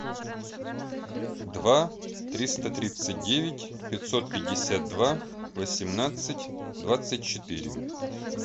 два триста тридцать девять пятьсот пятьдесят два восемнадцать двадцать четыре